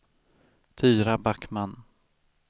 Tyra Backman